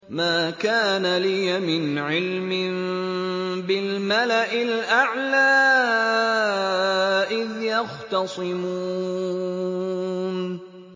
مَا كَانَ لِيَ مِنْ عِلْمٍ بِالْمَلَإِ الْأَعْلَىٰ إِذْ يَخْتَصِمُونَ